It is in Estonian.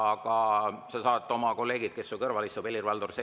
Aga sa saad oma kolleegilt, kes su kõrval istub,.